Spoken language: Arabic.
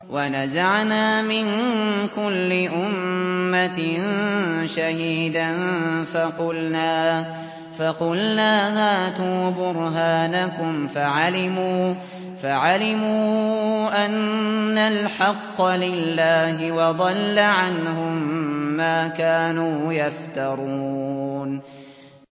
وَنَزَعْنَا مِن كُلِّ أُمَّةٍ شَهِيدًا فَقُلْنَا هَاتُوا بُرْهَانَكُمْ فَعَلِمُوا أَنَّ الْحَقَّ لِلَّهِ وَضَلَّ عَنْهُم مَّا كَانُوا يَفْتَرُونَ